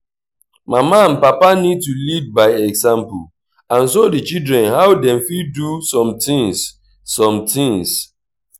mama and papa need to lead by example and show di children how dem fit do some things some things